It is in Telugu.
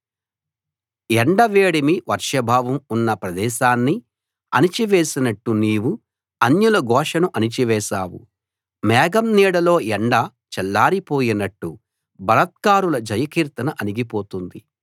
ఎండ వేడిమి వర్షాభావం ఉన్న ప్రదేశాన్ని అణచి వేసినట్టు నీవు అన్యుల ఘోషను అణచివేశావు మేఘం నీడలో ఎండ చల్లారి పోయినట్టు బలాత్కారుల జయకీర్తన అణిగి పోతుంది